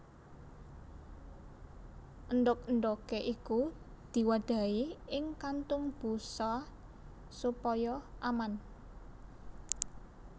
Endhog endhoge iku diwadahi ing kantung busa supaya aman